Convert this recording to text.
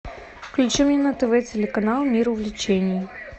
включи мне на тв телеканал мир увлечений